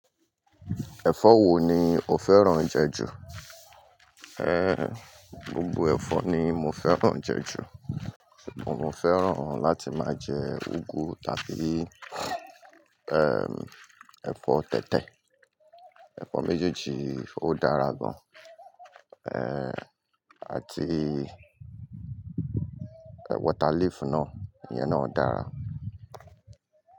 Ẹ̀fọ́ wo ni o fẹ́ràn jẹ ju? Ehn, gbogbo ẹ̀fọ́ ni mo fẹ́ràn jẹ ju, mo fẹ́ràn láti máa jẹ úgú tàbí, ehn, ẹ̀fọ́ tẹ̀tẹ̀, ẹ̀fọ́ méjèèjì ó dára gan. Ehn, àti water leaf náà, iyan náà dára.